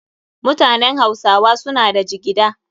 Mutanen hausawa suna da jigida.